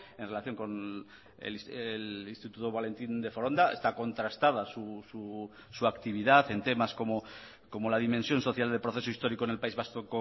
en relación con el instituto valentín de foronda está contrastada su actividad en temas como la dimensión social del proceso histórico en el país vasco